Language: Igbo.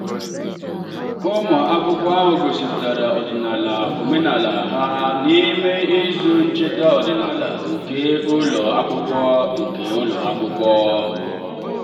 ụmụ akwụkwọ ahụ gosipụtara ọdịnala omenala ha n'ime izu ncheta ọdịnala nke ụlọ akwụkwọ. nke ụlọ akwụkwọ.